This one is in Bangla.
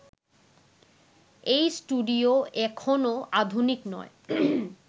এই স্টুডিও এখনও আধুনিক নয়